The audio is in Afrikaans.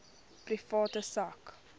private sak